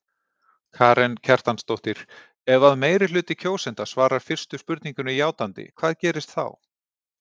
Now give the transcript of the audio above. Karen Kjartansdóttir: Ef að meirihluti kjósenda svarar fyrstu spurningunni játandi hvað gerist þá?